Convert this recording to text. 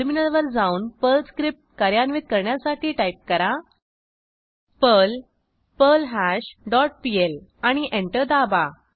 टर्मिनलवर जाऊन Perl script कार्यान्वित करण्यासाठी टाईप करा पर्ल पर्ल्हाश डॉट पीएल आणि एंटर दाबा